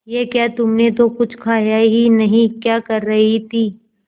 ये क्या तुमने तो कुछ खाया ही नहीं क्या कर रही थी